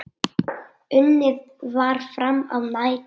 Unnið var fram á nætur.